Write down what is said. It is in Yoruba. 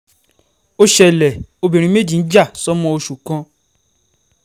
ó ṣẹlẹ̀ obìnrin méjì ń jà sọ́mọ oṣù kan